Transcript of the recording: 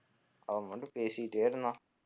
அவன் வந்து பேசிக்கிட்டே இருந்தான்